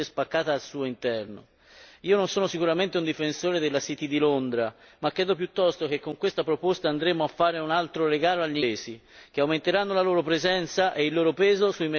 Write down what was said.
Io non sono sicuramente un difensore della city di Londra, ma credo piuttosto che con questa proposta andremo a fare un altro regalo agli inglesi, che aumenteranno la loro presenza e il loro peso sui mercati finanziari internazionali.